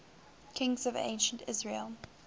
kings of ancient israel